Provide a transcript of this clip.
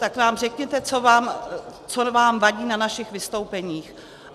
Tak nám řekněte, co vám vadí na našich vystoupeních?